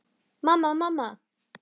Mamma, mamma.